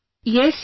Yes, yes